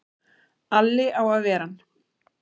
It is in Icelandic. Alli á að ver ann!